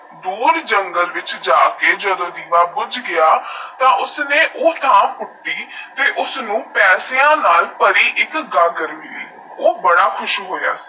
ਦੂਰ ਜੰਗਲ ਵਿੱਚ ਜਾਕੇ ਜਾਦ ਦੀਵਾ ਬੁਜ ਗਿਆ ਉਸਨੇ ਊ ਥਾ ਪੁੱਟੀ ਫੇਰ ਉਸਨੂ ਪੈਸਿਆ ਨਾਲ ਪਰੀ ਇਕ ਗਾਗਰ ਮਿਲੀ ਓਓਓ ਬੜਾ ਖੁਸ਼ ਹੋਇਆ